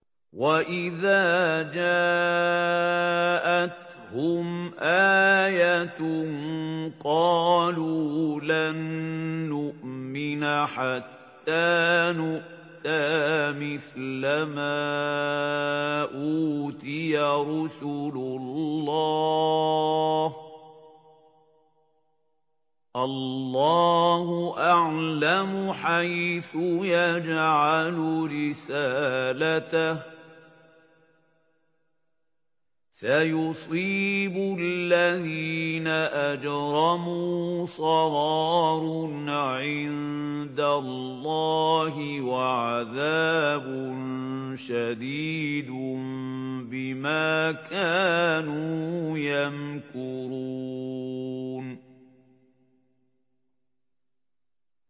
وَإِذَا جَاءَتْهُمْ آيَةٌ قَالُوا لَن نُّؤْمِنَ حَتَّىٰ نُؤْتَىٰ مِثْلَ مَا أُوتِيَ رُسُلُ اللَّهِ ۘ اللَّهُ أَعْلَمُ حَيْثُ يَجْعَلُ رِسَالَتَهُ ۗ سَيُصِيبُ الَّذِينَ أَجْرَمُوا صَغَارٌ عِندَ اللَّهِ وَعَذَابٌ شَدِيدٌ بِمَا كَانُوا يَمْكُرُونَ